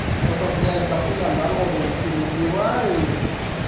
только блядь дохуя народу переубивают